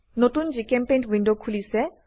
নতুন জিচেম্পেইণ্ট উইন্ডো খোলিছে